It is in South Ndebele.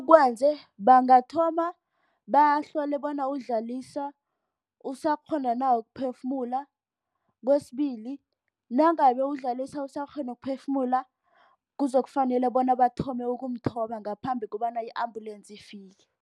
Bangathoma bahlole bona uDlalisa usakghona na ukuphefumula. Kwesibili, nangabe uDlalisa usakghona ukuphefumula kuzokufanele bona bathome ukumthoba ngaphambi kobana i-ambulensi ifike.